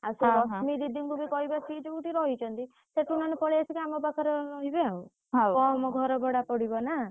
ଆଉ ସେ ଦିଦିଙ୍କୁ ବି କହିବା ସେ ଯୋଉଠି ରହିଛନ୍ତି।